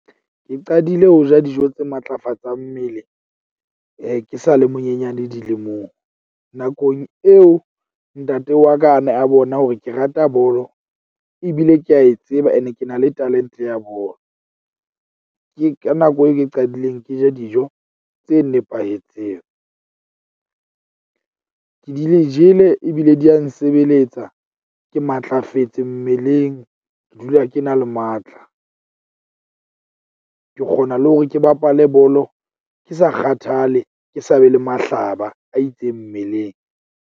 Ke qadile ho ja dijo tse matlafatsang mmele ke sa le monyenyane dilemong. Nakong eo ntate wa ka a ne a bona hore ke rata bolo, ebile ke a e tseba. Ene ke na le talent-e ya bolo. Ke ka nako eo ke qadileng ke ja dijo tse nepahetseng. Ke di le jele ebile di ya nsebeletsa ke matlafetse mmeleng. Ke dula ke na le matla. Ke kgona le hore ke bapale bolo, ke sa kgathale, ke sa be le mahlaba a itseng mmeleng.